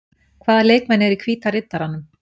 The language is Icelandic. Hvaða leikmenn eru í Hvíta Riddaranum?